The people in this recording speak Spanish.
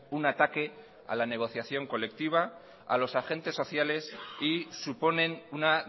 un ataque a la negociación colectiva a los agentes sociales y suponen una